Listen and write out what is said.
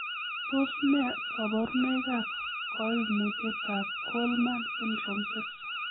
Tos nee koborunoikab koimutietab Kallmann syndrome 6?